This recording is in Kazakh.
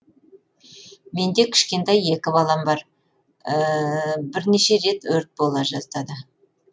менде кішкентай екі балам бар бірнеше рет өрт бола жаздады